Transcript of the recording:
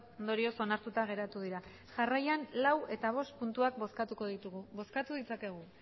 ondorioz onartuta geratu dira jarraian lau eta bost puntuak bozkatuko ditugu bozkatu ditzakegu